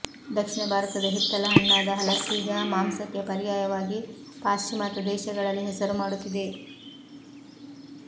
ದಕ್ಷಿಣ ಭಾರತದ ಹಿತ್ತಲ ಹಣ್ಣಾದ ಹಲಸೀಗ ಮಾಂಸಕ್ಕೆ ಪರ್ಯಾಯವಾಗಿ ಪಾಶ್ಚಿಮಾತ್ಯ ದೇಶಗಳಲ್ಲಿ ಹೆಸರು ಮಾಡುತ್ತಿದೆ